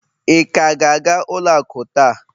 ị ka ga-aga ụlọ akụ taa?